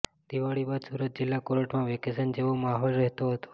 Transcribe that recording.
દિવાળી બાદ સુરત જિલ્લા કોર્ટમાં વેકેશન જેવો માહોલ રહેતો હતો